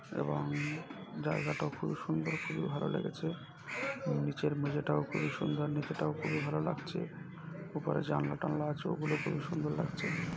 এবং জায়গাটাও খুব সুন্দর খুবই ভালো লেগেছে নিচের মেজেটাও খুবই সুন্দর নিচেটাও খুব ভালো লাগছে উপরে জানলা টানলা আছে ওগুলো খুবই সুন্দর লাগছে।